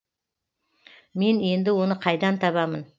мен енді оны қайдан табамын